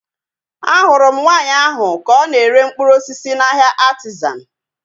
Ahụrụ m nwaanyị ahu ka ọ na-ere mkpụrụ osisi n'ahia Artizan